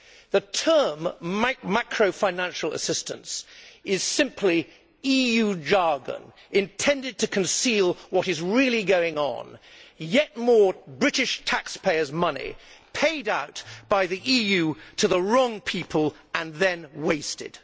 The term macro financial assistance' is simply EU jargon intended to conceal what is really going on yet more British taxpayers' money paid out by the EU to the wrong people and then wasted.